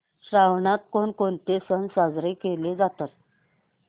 श्रावणात कोणकोणते सण साजरे केले जातात